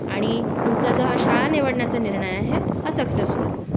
आणि तुमचा जो हा शाळा निवडण्याचा निर्णय आहे हा सक्सेसफुल होवो